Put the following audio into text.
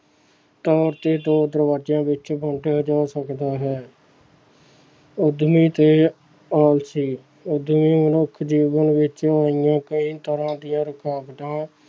ਤੌਰ ਤੇ ਦੋ ਦਰਵਾਜ਼ਿਆਂ ਵਿੱਚ ਵੰਡਿਆ ਜਾ ਸਕਦਾ ਹੈ ਉਦਮੀ ਤੇ ਆਲਸੀ, ਉਦਮੀ ਮਨੁੱਖ ਜੀਵਨ ਵਿੱਚ ਆਈਆਂ ਕਈ ਤਰ੍ਹਾਂ ਦੀਆਂ ਰੁਕਾਵਟਾਂ